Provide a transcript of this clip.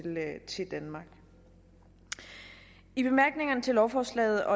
danmark i bemærkningerne til lovforslaget og